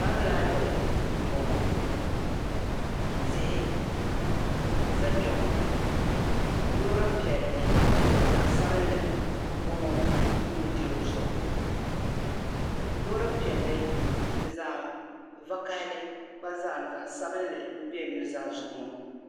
pam "library" m-bɔŋɔ tihi n za kpɛ ŋɔ loori piɛlli ni zaɣ'sabinli m-bɔŋɔ n nudirigu zuɣu loori piɛlli ni zaɣ'vakahili gba zaa zaɣ'sabinli m-be n nuzaa zuɣu ŋɔ